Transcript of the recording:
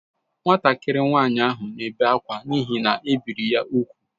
Nwatakịrị nwanyị ahụ na-ebe akwa n’ihi na e biri ya úgwù